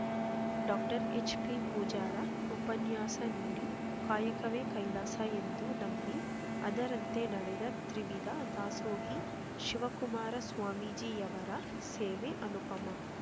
doctor H B Pujar ಉಪನ್ಯಾಸ ನೀಡಿ ಕಾಯಕವೇ ಕೈಲಾಸ ಎಂದು ನಂಬಿ ಅದರಂತೆ ನಡೆದ ತ್ರಿವಿಧ ದಾಸೋಹಿ ಶಿವಕುಮಾರ ಸ್ವಾಮೀಜಿಯವರ ಸೇವೆ ಅನುಪಮ